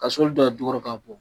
Ka sɔli don a jukɔrɔ k'a bɔn.